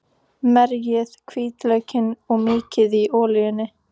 Merjið hvítlaukinn og mýkið í olíunni.